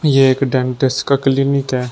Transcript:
ये एक डेंटिस्ट का क्लीनिक है।